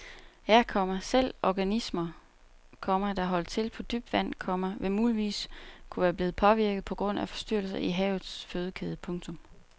Ja, komma selv organismer, komma der holdt til på dybt vand, komma vil muligvis kunne være blevet påvirket på grund af forstyrrelser i havets fødekæde. punktum